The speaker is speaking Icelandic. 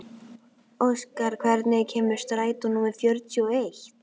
Óskar, hvenær kemur strætó númer fjörutíu og eitt?